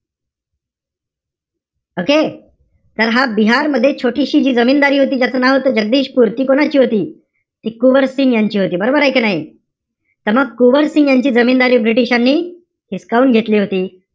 Okay? तर हा बिहारमध्ये छोटीशी जी जमीनदारी होती, ज्याचं नाव होतं, जगदीशपूर. ती कोणाची होती? ती कुवारसिंग यांची होती. बरोबरय कि नाई? तर मग, कुवरसिंग यांची जमीनदारी british नि हिसकावून घेतली होती.